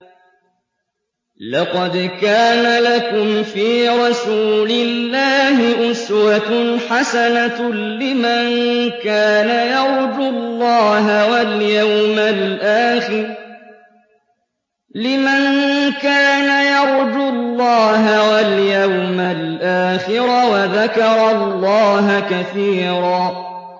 لَّقَدْ كَانَ لَكُمْ فِي رَسُولِ اللَّهِ أُسْوَةٌ حَسَنَةٌ لِّمَن كَانَ يَرْجُو اللَّهَ وَالْيَوْمَ الْآخِرَ وَذَكَرَ اللَّهَ كَثِيرًا